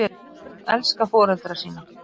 Börn elska foreldra sína.